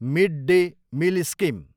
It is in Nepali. mid day meal scheme